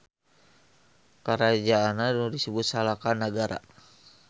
Karajaanna nu disebut Salaka Nagara.